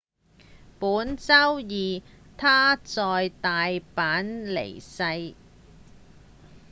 本週二他在大阪辭世